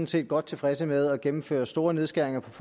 set godt tilfredse med at gennemføre store nedskæringer på